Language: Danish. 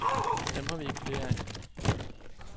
Dem har vi ikke flere af.